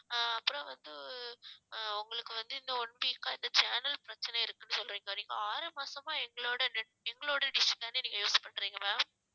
அஹ் அப்புறம் வந்து ஆஹ் உங்களுக்கு வந்து இந்த one week அ இந்த channel பிரச்னை இருக்குனு சொல்லறிங்க நீங்க ஆறு மாசமா எங்களோட net எங்களோட dish தான use பண்ரீங்க ma'am